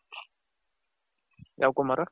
ಯಾವ್ ಕುಮಾರ.